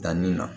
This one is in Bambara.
Danni na